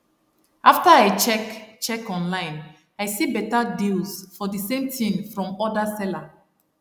after i check check online i see better deals for the same thing from other seller